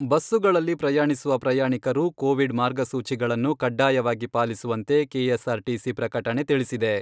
ಬಸ್ಸುಗಳಲ್ಲಿ ಪ್ರಯಾಣಿಸುವ ಪ್ರಯಾಣಿಕರು ಕೋವಿಡ್ ಮಾರ್ಗಸೂಚಿಗಳನ್ನು ಕಡ್ಡಾಯವಾಗಿ ಪಾಲಿಸುವಂತೆ ಕೆಎಸ್ಆರ್ಟಿಸಿ ಪ್ರಕಟಣೆ ತಿಳಿಸಿದೆ.